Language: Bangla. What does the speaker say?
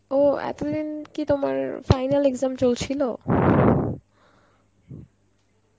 ও এতদিন কি তোমার final exam চলছিল?